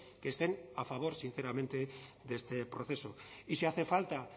que estén a favor sinceramente de este proceso y si hace falta